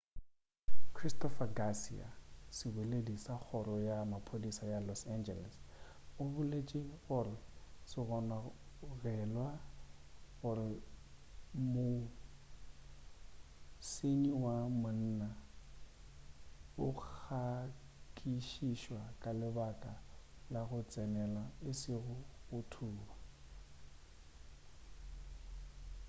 christopher garcia seboleledi sa kgoro ya maphodisa ya los angeles se boletše gore se gononela gore mosenyi wa monna o nyakišišwa ka lebaka la go tsenela e sego go thuba